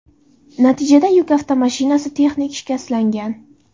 Natijada yuk avtomashinasi texnik shikastlangan.